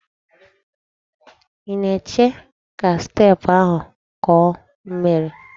Ị na-eche ka steepụ ahụ kọọ miri?